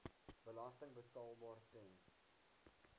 belasting betaalbaar ten